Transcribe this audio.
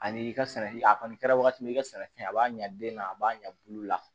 Ani i ka sɛnɛ a kɔni kɛra wagati min i ka sɛnɛfɛn a b'a ɲa den na a b'a ɲɛ bulu la